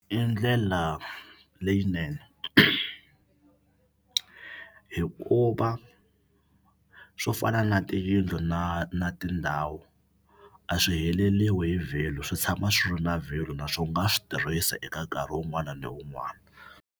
I ndlela leyinene hikuva swo fana na tiyindlu na na tindhawu a swi heleriwi hi value swi tshama swi ri na value na swo nga swi tirhisa eka nkarhi wun'wana na wun'wana.